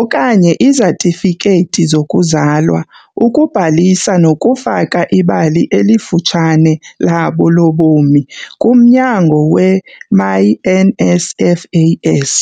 okanye izatifikethi zokuzalwa ukubhalisa nokufaka ibali elifutshane labo lobomi kumnyango we-myNSFAS.